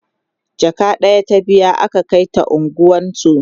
jaka ɗaya ta biya aka Kai ta unguwansu